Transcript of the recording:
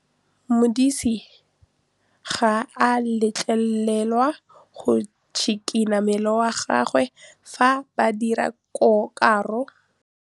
Modise ga a letlelelwa go tshikinya mmele wa gagwe fa ba dira karô.